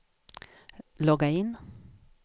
logga in